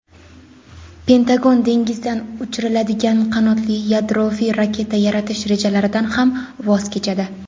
Pentagon dengizdan uchiriladigan qanotli yadroviy raketa yaratish rejalaridan ham voz kechadi.